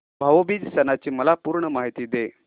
भाऊ बीज सणाची मला पूर्ण माहिती दे